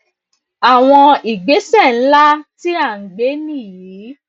àwọn ìgbésẹ ńlá tí a ń gbé nìyí